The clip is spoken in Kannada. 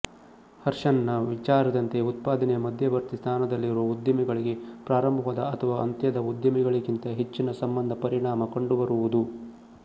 ಹರ್ಷ್ಮನ್ನ ವಿಚಾರದಂತೆ ಉತ್ಪಾದನೆಯ ಮಧ್ಯವರ್ತಿ ಸ್ಥಾನದಲ್ಲಿರುವ ಉದ್ದಿಮೆಗಳಿಗೆ ಪ್ರಾರಂಭದ ಅಥವಾ ಅಂತ್ಯದ ಉದ್ದಿಮೆಗಳಿಗಿಂತ ಹೆಚ್ಚಿನ ಸಂಬಂಧ ಪರಿಣಾಮ ಕಂಡುಬರುವುದು